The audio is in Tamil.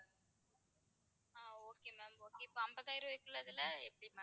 ஆஹ் okay ma'am okay இப்போ அம்பதாயிரம் ரூபாய் இருக்கறதுல எப்படி ma'am